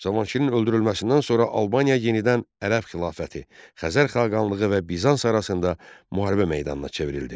Cavanşirin öldürülməsindən sonra Albaniya yenidən Ərəb xilafəti, Xəzər xaqanlığı və Bizans arasında müharibə meydanına çevrildi.